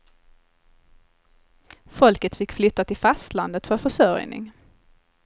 Folket fick flytta till fastlandet för försörjning.